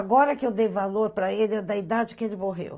Agora que eu dei valor para ele, é da idade que ele morreu.